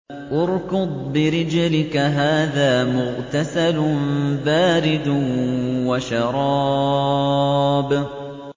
ارْكُضْ بِرِجْلِكَ ۖ هَٰذَا مُغْتَسَلٌ بَارِدٌ وَشَرَابٌ